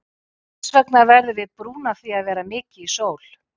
Hvers vegna verðum við brún af því að vera mikið í sól?